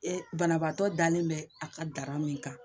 Ɛ banabaatɔ dannen bɛ a ka dara min kan